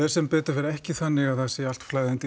sem betur fer ekki þannig að það sé allt flæðandi